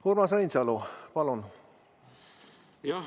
Urmas Reinsalu, palun!